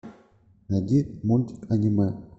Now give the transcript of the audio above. найди мульт аниме